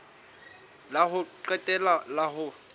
la ho qetela la ho